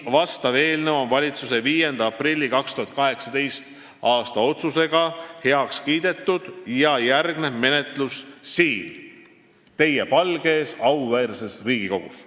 See eelnõu on valitsuse 5. aprilli 2018. aasta otsusega heaks kiidetud ja järgneb selle menetlus siin, teie palge ees, auväärses Riigikogus.